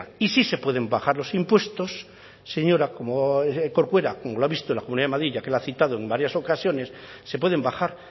y sí se pueden bajar los impuestos señora corcuera como lo ha visto en la comunidad de madrid ya que la ha citado en varias ocasiones se pueden bajar